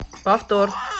повтор